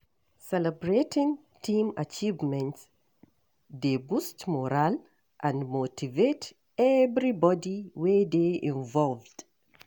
Celebrating team achievements dey boost morale and motivate everybody wey dey involved.